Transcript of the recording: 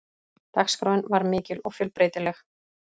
Dagskráin var mikil og fjölbreytileg